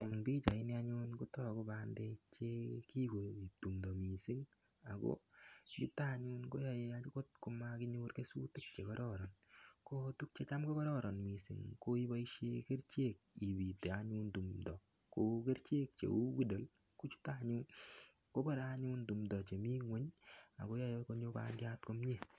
Eng pichaini anyun kotoku bandek chekikoekitu timndo mising ak ko chuto anyun komokinyor kesutik chekororon, ko tukuk chetam ko kororon mising ko iboishen kerichek ibite anyun timndo kou kerichek cheu IDOL kochute anyun kobore anyun timndo chemii ngweny ak koyoe bandiat komnye.